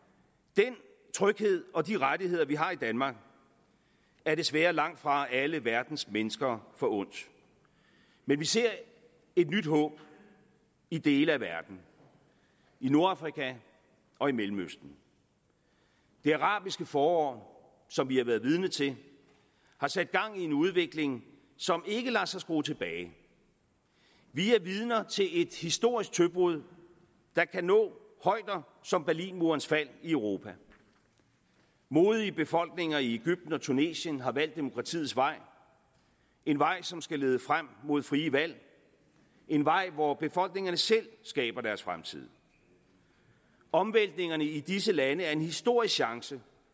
den tryghed og de rettigheder vi har i danmark er desværre langt fra alle verdens mennesker forundt men vi ser nyt håb i dele af verden i nordafrika og i mellemøsten det arabiske forår som vi har været vidne til har sat gang i en udvikling som ikke lader sig skrue tilbage vi er vidner til et historisk tøbrud der kan nå højder som berlinmurens fald i europa modige befolkninger i egypten og tunesien har valgt demokratiets vej en vej som skal lede frem mod frie valg en vej hvor befolkningerne selv skaber deres fremtid omvæltningerne i disse lande er en historisk chance